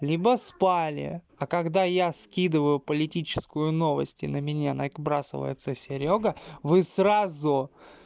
либо спали а когда я скидываю политическую новости на меня набрасывается серёга вы сразу